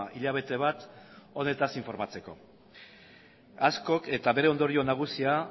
hilabete bat honetaz informatzeko askok eta bere ondorio nagusia